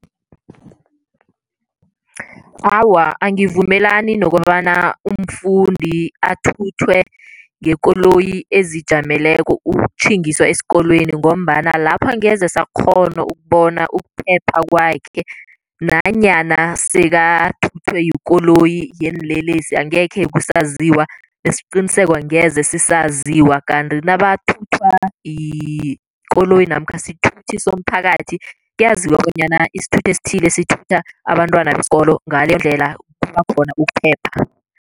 Awa, angivumelani nokobana umfundi athuthwe ngekoloyi ezijameleko ukutjhingiswa esikolweni ngombana lapho angeze sakghona ukubona ukuphepha kwakhe nanyana sekathuthwe yikoloyi yeenlelesi angekhe kusaziwa nesiqiniseko angeze sisaziwa, kanti nabathuthwa yikoloyi namkha sithuthi somphakathi, kuyaziwa bonyana isithuthi esithile sithutha abantwana besikolo, ngalendlela kuba khona ukuphepha.